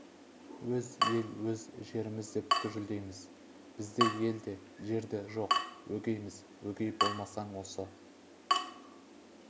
өз ел өз жеріміз деп гүжілдейміз бізде ел де жер де жоқ өгейміз өгей болмасаң осы